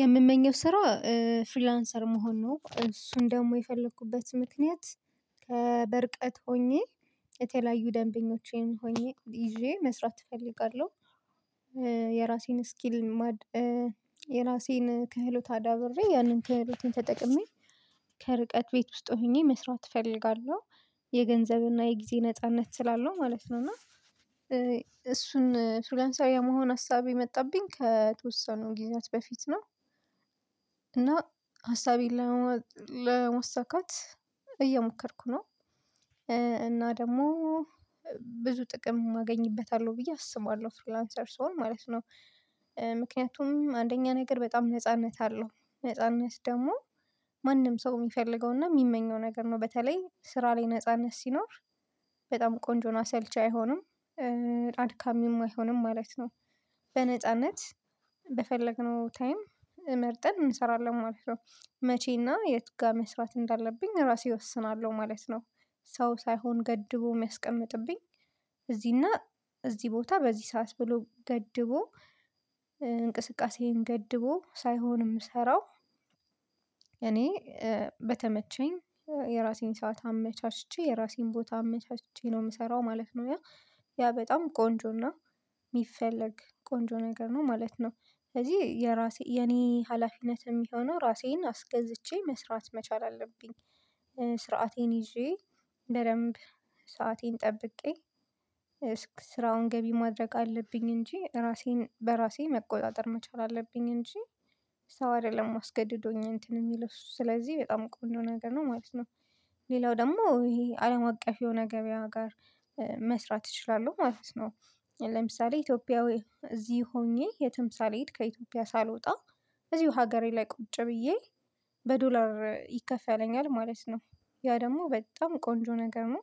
የምመኘው ስራ ፍሪላንሰር መሆን ነው እሱን ደግሞ የፈለኩበት ምክንያት በርቀት ሆኜ የተለያዩ ደንበኞቼን ሆኜ ይዤ መስራት እፈልጋለሁ። ስኪል የራሴን ክህሎት አዳብሬ ያንን ክህሎትን ተጠቅሜ ከርቀት ቤት ውስጥ ሆኜ መስራት እፈልጋለሁ። የገንዘብና የጊዜ ነጻነት ስላለው ማለት ነው። እና ነው እና እሱን ፍሪለንሰር የመሆን ሀሳብ የመጣብኝ ከተወሰኑ ጊዜያት በፊት ነው። እና ሀሳቤን ለማሳካት እየሞከርኩ ነው። እና ደግሞ ብዙ ጥቅም አገኝበታለሁ ብዬ አስባለሁ ፍሪላንሰር ስሆን ማለት ነው። ምክንያቱም አንደኛ ነገር በጣም ነጻነት አለው። ነጻነት ደግሞ ማንም ሰው የሚፈልገውና የሚመኘው ነገር ነው። በተለይ ስራ ላይ ነጻነት ሲኖር በጣም ቆንጆ ነው። ሳልች አይሆንም አድካሚም አይሆንም ማለት ነው። በነጻነት በፈለግነው ታይም መርጠን እንሰራለን ማለት ነው። መቼና የት ጋር መስራት እንዳለብኝ እራሴ እወስናለሁ ማለት ነው። ሰው ሳይሆን ገድቦ የሚያስቀምጥብኝ እዚህና እዚህ ቦታ በዚህ ሰዓት ብሎ ገድቦ እንቅስቃሴን ገድቦ ሳይሆን የምሰራው። እኔ በተመቸኝ የራሴን ሰዓት አመቻችቼ የራሴን ቦታ አመቻችቼ ነው የምሰራው ማለት ነው። ያ በጣም ቆንጆና የሚፈለግ ቆንጆ ነገር ነው ማለት ነው። ስለዚህ የራሴ የኔ ሀላፊነት የሚሆነው ራሴን አስገዝቼ መስራት መቻል አለብኝ። ስርዓቴን ይዤ በደንብ ሰአቴን ጠብቄ ስራውን ገቢ ማድረግ አለብኝ። እንጂ እራሴን በራሴ መቆጣጠር መቻል አለብኝ። እንጂ ሰእ አይደለም አስገድዶኝ እንትን የሚለው ስለዚህ በጣም ቆንጆ ነገር ነው ማለት ነው። ሌላው ደግሞ ይሄ አለም አቀፍ የሆነ ገበያ ጋር መስራት እችላለሁ ማለት ነው። ለምሳሌ ኢትዮጵያዊ እዚህ ሆኜ የትም ሳሌድ ከኢትዮጵያ ሳልወጣ እዚሁ ሀገሬ ላይ ቁጭ ብዬ በዶላር ይከፋለኛል ማለት ነው። ያ ደግሞ በጣም ቆንጆ ነገር ነው።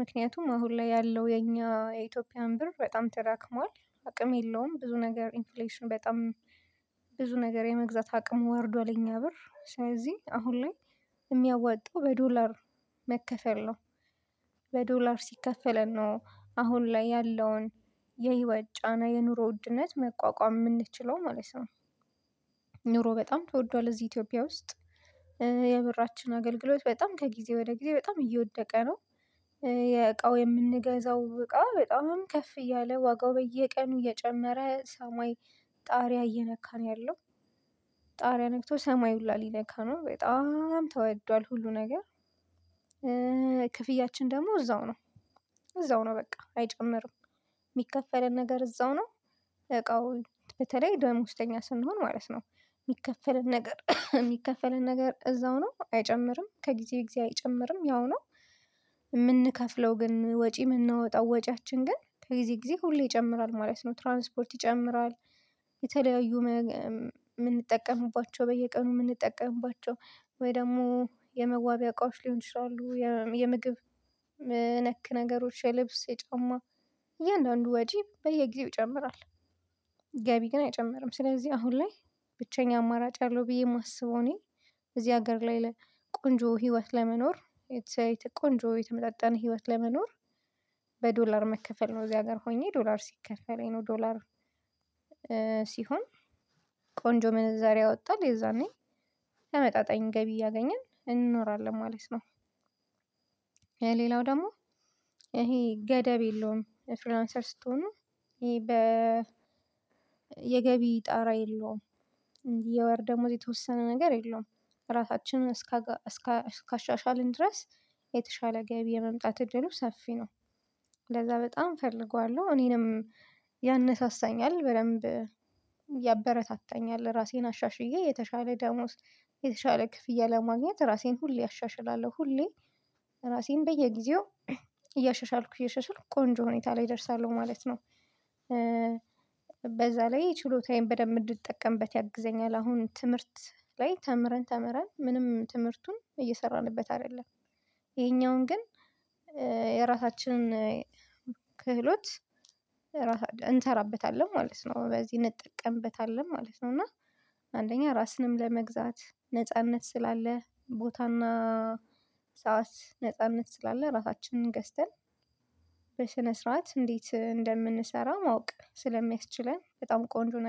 ምክንያቱም አሁን ላይ ያለው የኛ የኢትዮጵያን ብር በጣም ተዳክሟል አቅም የለውም ብዙ ነገር ኢንፍሌሽን በጣም ብዙ ነገር የመግዛት አቅም ወርዷል የኛ ብር ስለዚ አሁን ላይ የሚያዋጣው በዶላር መከፈል ነው። በዶላር ሲከፈለን ነው አሁን ላይ ያለውን የህይወት ጫና የኑሮ ውድነት መቋቋም የምንችለው ማለት ነው። ኑሮ በጣም ትወደዋለህ እዚ ኢትዮጵያ ውስጥ የብራችን አገልግሎት በጣም ከጊዜ ወደ ጊዜ በጣም እየወደቀ ነው። የእቃው የምንገዛው እቃ በጣም ከፍ እያለ ዋጋው በየቀኑ እየጨመረ ሰማይ ጣሪያ እየነካ ነው ያለው ጣሪያ ነክቶ ሰማይ ሁላ ሊነካ ነው በጣም ተወዷል ሁሉ ነገር። ክፍያችን ደግሞ እዛው ነው እዛው ነው በቃ አይጨምርም። የሚከፈለን ነገር እዛው ነው። እቃው በተለይ ደሞዝተኛ ስንሆን ማለት ነው የሚከፈለን ነገር የሚከፈለን ነገር እዛው ነው አይጨምርም ከጊዜው ጊዜ አይጨምርም ያው ነው። የምንከፍለው ግን ወጪ የምንወጣው ወጪያችን ግን ከጊዜ ጊዜ ሁሌ ይጨምራል ማለት ነው ትራንስፖርት ይጨምራል። የተለያዩ የምንጠቀምባቸው በየቀኑ የምንጠቀምባቸው ወይ ደግሞ የመዋቢያ እቃዎች ሊሆን ይችላሉ የምግብ ነክ ነገሮች የልብስ የጫማ እያንዳንዱ ወጂ በየጊዜው ይጨምራል። ገቢ ግን አይጨምርም ስለዚህ አሁን ላይ ብቸኛ አማራጭ ያለው ብዬ የማስበው እኔ በዚህ ሀገር ላይ ቆንጆ ህይወት ለመኖር ቆንጆ የተመጣጠነ ህይወት ለመኖር በዶላር መከፈል ነው። እዚያ ጋር ሆኜ ዶላር ሲከፈል ነው ዶላር ሲሆን ቆንጆ መነዛሬ አወጣል የዛኔ ተመጣጣኝ ገቢ እያገኘን እንኖራለን ማለት ነው። ሌላው ደግሞ ይሄ ገደብ የለውም። ፍሪላንሰር ስትሆኑ ይሄ በ የገቢ ጣራ የለውም። እንዲህ የወር ደሞዝ የተወሰነ ነገር የለውም። ራሳችንን እስከ እስከ ካሻሻልን ድረስ የተሻለ ገቢ የመምጣት እድሉ ሰፊ ነው። ለዛ በጣም እፈልገዋለሁ እኔንም ያነሳሳኛል በደንብ ያበረታታኛል ራሴን አሻሽዬ የተሻለ ደሞዝ የተሻለ ክፍያ ለማግኘት ራሴን ሁሌ አሻሽላለሁ ሁሌ ራሴን በየጊዜው እያሻሻልኩ እያሻሻልኩ ቆንጆ ሁኔታ ላይ እደርሳለሁ ማለት ነው። በዛ ላይ ችሎታዬን በደንብ እንድትጠቀምበት ተጠቀምበት ያግዘኛል አሁን ትምህርት ላይ ተምረን ተምረን ምንም ትምህርቱን እየሰራንበት አይደለም። ይሄኛውን ግን የራሳችንን ክህሎት እንሰራበታለን ማለት ነው። በዚህ እንጠቀምበታለን ማለት ነው። እና አንደኛ ራስንም ለመግዛት ነጻነት ስላለ ቦታና ሰዓት ነጻነት ስላለ ራሳችንን ገዝተን ስነስርዓት እንዴት እንደምንሰራ ማወቅ ስለሚያስችለን በጣም ቆንጆ ነገር